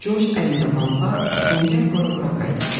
Corc əlində lampa, ləngər vura-vura qayıdıb gəldi.